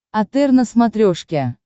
отр на смотрешке